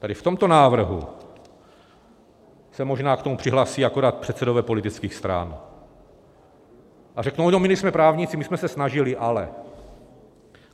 Tedy v tomto návrhu se možná k tomu přihlásí akorát předsedové politických stran a řeknou no, my nejsme právníci, my jsme se snažili, ale.